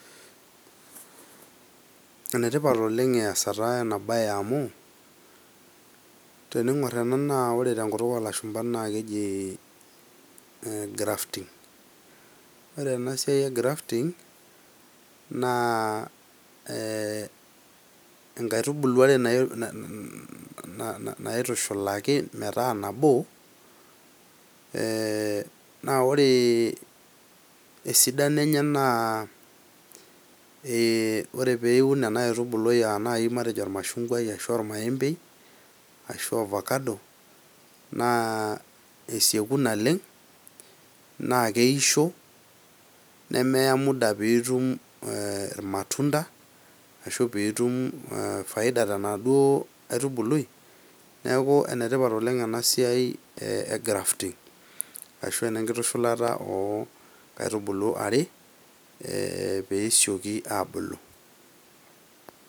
Ene tipat oleng' easata ena baye amu tening'or ena naa kore te nkutuk olashumba naake eji grafting. Ore ena siai e grafting naa ee nkaitubulu are na na naitushulaki metaa nabo ee naa ore esidano enye naa ore pee iun ena aitubului matejo ormashungwai ashu ormaembei, ashu ovacado naa esieku naleng' naake eisho nemeya muda piitum ee ir matunda ashu piitum faida tenaduo aitubului. Neeku ene tipat oleng' ena siai e grafting ashu ene nkishulata o nkaitubulu are ee pee esioki aabulu.